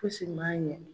Fosi man ɲɛ